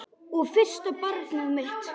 Og fyrsta barnið mitt.